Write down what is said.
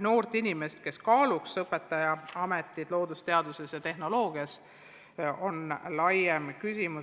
noori inimesi, vähesed kaaluvad loodusteaduste ja tehnoloogia valdkonna õpetaja ametit.